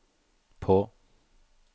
på